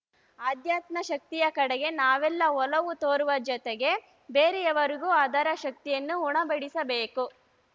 ಆಧಾತ್ಮ ಶಕ್ತಿಯ ಕಡೆಗೆ ನಾವೆಲ್ಲ ಒಲವು ತೋರುವ ಜೊತೆಗೆ ಬೇರೆಯವರಿಗೂ ಅದರ ಶಕ್ತಿಯನ್ನು ಉಣಬಡಿಸಬೇಕು